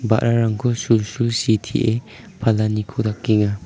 ba·rarangko sulsul sitee palaniko dakenga.